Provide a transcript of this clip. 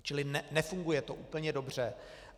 Čili nefunguje to úplně dobře.